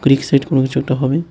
Excite কোনো কিছু একটা হবে।